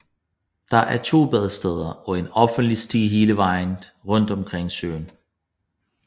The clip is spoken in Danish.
Der er to badesteder og en offentlig sti hele vejen rundt omkring søen